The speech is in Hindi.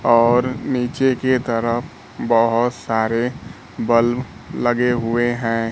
और नीचे की तरफ बहोत सारे बल्ब लगे हुए हैं।